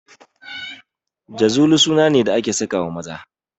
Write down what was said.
Jazuli suna ne da ake sakawa maza